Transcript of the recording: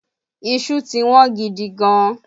Iṣu ti Wọ́n gidigan